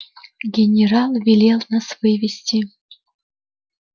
генерал велел нас вывести